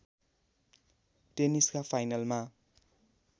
टेनिसका फाइनलमा